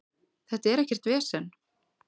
Þetta er ekkert vesen.